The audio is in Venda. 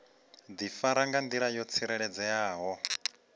difara nga ndila yo tsireledzeaho